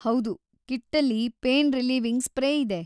ಹೌದು, ಕಿಟ್ಟಲ್ಲಿ pain relieving spray ಇದೆ.